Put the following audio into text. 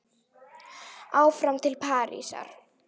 Áfram til Parísar